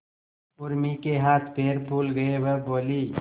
उर्मी के हाथ पैर फूल गए वह बोली